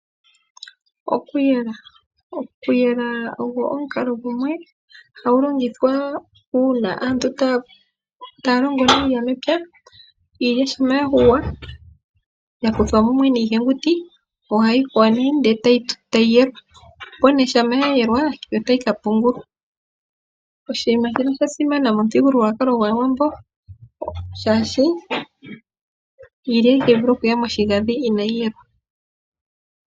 Okuyela Okuyela ogo omukalo gumwe hagu longithwa uuna aantu taya longo iilya mepya. Iilya shampa ya yungulwa, ya kuthwa mumwe niihenguti ohayi yelwa, opo nduno shampa ya yelwa ohayi ka pungulwa. Oshinima shino osha simana momuthigululwakalo gwAawambo, oshoka iilya itayi vulu okuya moshinda inaayi yelwa.